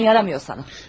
Heyəcan yaramıyor sənə.